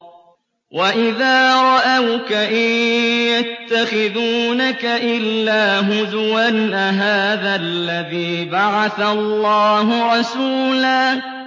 وَإِذَا رَأَوْكَ إِن يَتَّخِذُونَكَ إِلَّا هُزُوًا أَهَٰذَا الَّذِي بَعَثَ اللَّهُ رَسُولًا